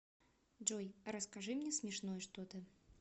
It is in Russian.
джой расскажи мне смешное что то